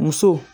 Muso